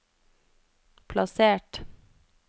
plassert